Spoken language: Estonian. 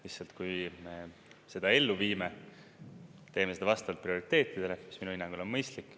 Lihtsalt, kui me seda ellu viime, siis me teeme seda vastavalt prioriteetidele, mis minu hinnangul on mõistlik.